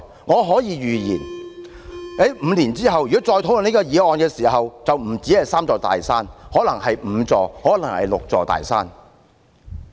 我可以預言 ，5 年後如果再討論這項議題，便不單是"三座大山"，而可能是"五座大山"、"六座大山"了。